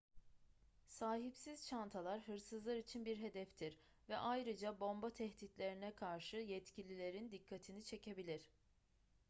sahipsiz çantalar hırsızlar için bir hedeftir ve ayrıca bomba tehditlerine karşı yetkililerin dikkatini çekebilir